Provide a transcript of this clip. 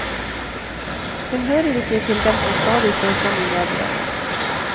Hun hører ikke til dem som stadig står frem i mediene.